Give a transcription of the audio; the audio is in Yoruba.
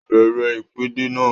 Bẹ̀rẹ̀ ìpèdè náà!